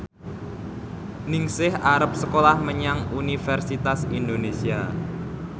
Ningsih arep sekolah menyang Universitas Indonesia